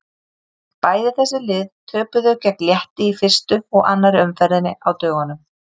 Bæði þessi lið töpuðu gegn Létti í fyrstu og annarri umferðinni á dögunum.